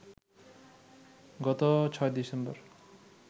গত ৬ ডিসেম্বর